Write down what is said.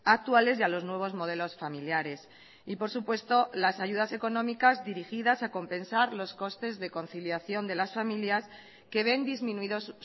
actuales y a los nuevos modelos familiares y por supuesto las ayudas económicas dirigidas a compensar los costes de conciliación de las familias que ven disminuidos